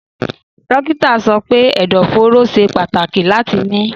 Dókítà sọ pé ẹ̀dọ̀fóró ṣe pàtàkì láti mí.